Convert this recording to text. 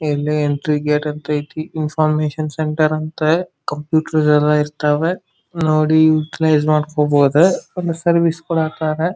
ಇಲ್ಲಿ entry gate ಅಂತೂ ಅಯ್ತಿ ಇನ್ಫಾರ್ಮಶನ್ ಸೆಂಟರ್ ಅಂತ ಕಂಪ್ಯೂಟರ್ ಅದು ಎಲ್ಲಾ ಇರ್ತಾರೆ ನೋಡಿ ಯುಟಿಲಿಸ್ ‌ ಮಾಡ್ತಾರಾ ಆಮೆಲೆ ಸರ್ವಿಸ್‌ ಕೂಡ .